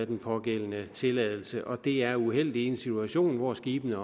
den pågældende tilladelse og det er uheldigt i en situation hvor skibene